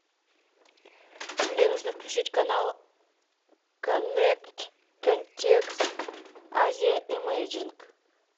мне нужно включить канал коннект контекст азия эмейджинг